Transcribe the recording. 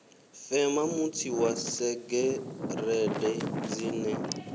fema mutsi wa segereṱe dzine